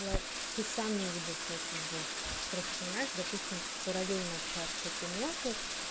ты сам не увидел свою судьбу просто понимаешь допустим параллельно общался с этой мелкой